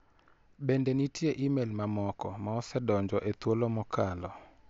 Bende nitie imel mamoko ma osedonjo e thuolo mokalo?